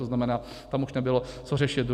To znamená, tam už nebylo co řešit.